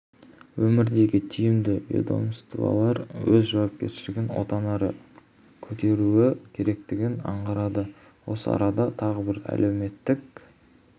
өңірдегі тиісті ведомствалар өз жауапкершілігін одан әрі көтеруі керектігін аңғартады осы арада тағы бір әлеуметтік